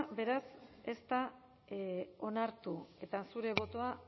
beraz ez da onartu eta zure botoa